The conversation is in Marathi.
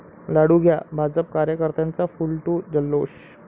लाडू घ्या..', भाजप कार्यकर्त्यांचा फूल टू जल्लोष